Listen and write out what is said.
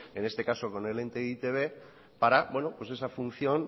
en este caso con el ente de e i te be para pues esa función